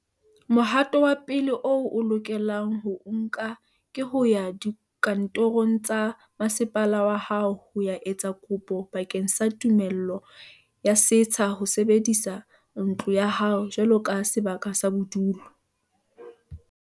Mohato wa pele o o lokelang ho o nka ke ho ya dikantorong tsa masepala wa hao ho ya etsa kopo bakeng sa tumello ya setsha ho sebedisa ntlo ya hao jwaloka sebaka sa bodulo.